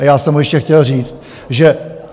A já jsem mu ještě chtěl říct, že...